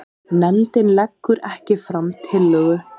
Nefndin leggur ekki fram tillögu